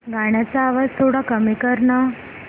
गाण्याचा आवाज थोडा कमी कर ना